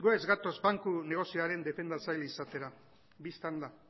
ez gatoz banku negozioaren defendatzaile izatera bistan da